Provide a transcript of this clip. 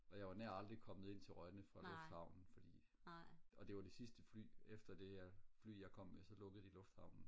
og jeg var nær aldrig kommet ind til Rønne fra lufthavnen fordi og det var det sidste fly efter det jeg fly jeg kom med så lukkede de lufthavnen